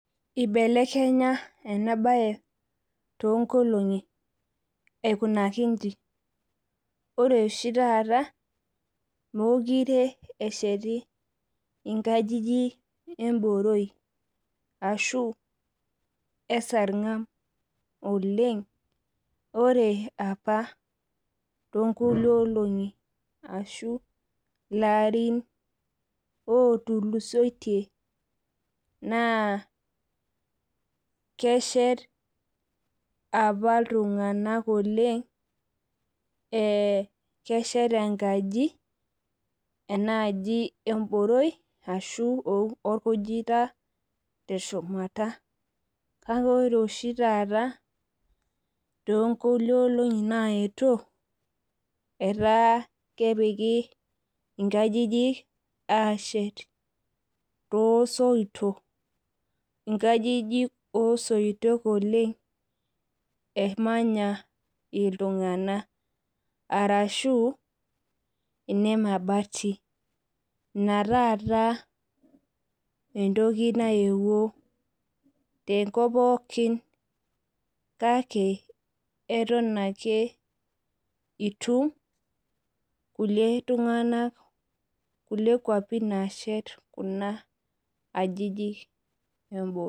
Ibelekenya ena bae toonkolongi aikunaki inji. Ore oshi taata mookure eshetitae nkajijik emboroi ashu esarngab oleng. Ore apa toonkulie olongi ashu larin ootulusoitie naa kesheti apa iltungank oleng ,kesheti enkaji enaaji emboroi ashu orkujita teshumata, kake ore oshi taata toonkulie olongi nayeuo ,etaa kepiki nkajijik ashet toosoitok. Nkajijik osoitok emanya iltunganak oleng ashu nemebati ina taata neyeuo tenkop pookin kake eton ake itum kulie kwapi naashet Kuna ajijik emboroi.